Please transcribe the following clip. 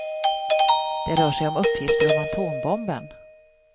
Det rör sig om uppgifter om atombomben.